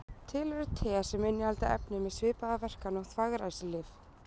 Til eru te sem innihalda efni með svipaða verkan og þvagræsilyf.